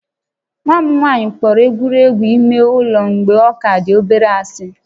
Nwa m nwanyị kpọrọ egwuregwu ime ụlọ mgbe ọ ka dị obere ásị̀